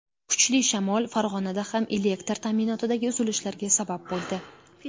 Kuchli shamol Farg‘onada ham elektr ta’minotidagi uzilishlarga sabab bo‘ldi.